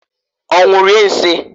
Onwu rie nsiǃ